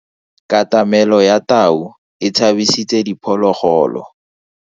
Katamelo ya tau e tshabisitse diphologolo.